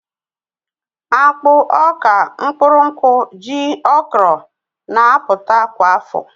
Akpụ, Ọ̀ka, mkpụrụ nkwụ, ji, okro na-apụta kwa afọ